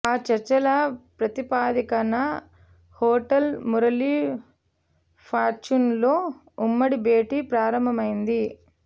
ఆ చర్చల ప్రాతిపదికన హోటల్ మురళీ ఫార్చ్యూన్లో ఉమ్మడి భేటీ ప్రారంభమైంది